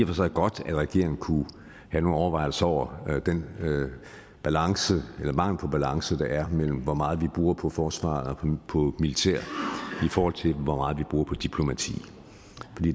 for sig godt at regeringen kunne have nogle overvejelser over den balance eller mangel på balance der er mellem hvor meget vi bruger på forsvaret og på militæret i forhold til hvor meget vi bruger på diplomati